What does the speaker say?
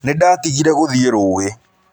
Nĩndatigire gũthiĩ rũũĩ.